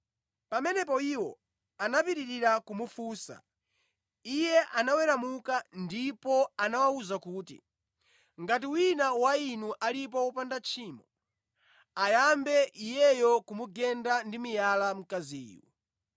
Pamene iwo anapitirira kumufunsa, Iye anaweramuka ndipo anawawuza kuti, “Ngati wina wa inu alipo wopanda tchimo, ayambe iyeyo kumugenda ndi miyala mkaziyu.”